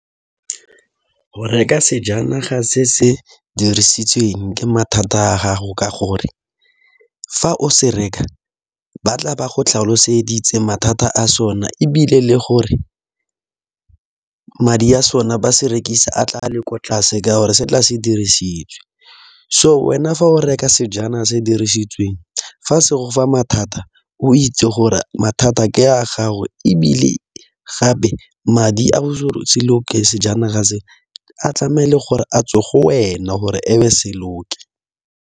Go reka sejanaga se se dirisitsweng ke mathata a gago ka gore, fa o se reka ba tla ba go tlhaloseditse mathata a sone. Ebile le gore madi a sone ba se rekisa a tla a le ko tlase, ka gore se tla se dirisitswe. So wena fa o reka sejana se dirisitsweng fa se gofa mathata o itse gore mathata a ke a gago, ebile gape madi a o se loke sejanaga se, a tlameile gore a tswe go wena gore ebe se loke.